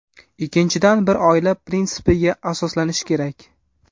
Ikkinchidan, bir oila prinsipiga asoslanish kerak.